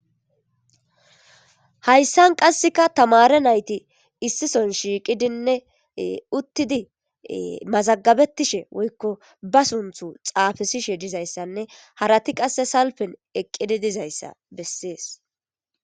hayssan qasseka tamare nayti issison shiiqidinne uttidi mazagabettishe woykko ba sunthu xaafesishe dizayssanne harati qasse salpen eqqidi dizayssa bessees